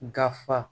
Gafe